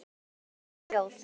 Allt í einu heyrðum við hljóð.